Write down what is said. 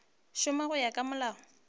šoma go ya ka molao